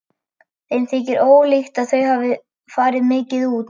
Mér þykir ólíklegt að þau fari mikið út.